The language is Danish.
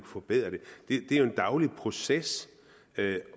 forbedre den det er jo en daglig proces